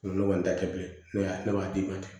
Ne kɔni ta tɛ bilen ne y'a ne b'a d'i ma ten